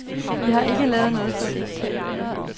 Vi har ikke lavet noget fordækt.